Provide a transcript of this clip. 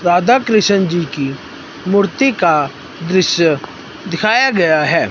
राधाकृष्ण जी की मूर्ति का दृश्य दिखाया गया है।